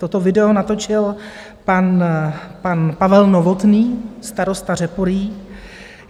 Toto video natočil pan Pavel Novotný, starosta Řeporyjí.